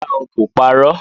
Rárá o, kò parọ́